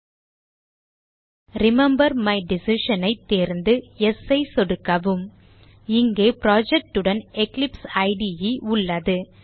000320 000301 remember my decision ஐ தேர்ந்து Yes ஐ சொடுக்கவும் இங்கே project உடன் எக்லிப்சைடு உள்ளது